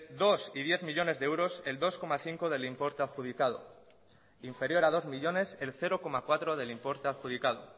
dos y diez millónes de euros el dos coma cinco del importe adjudicado inferior a dos millónes el cero coma cuatro del importe adjudicado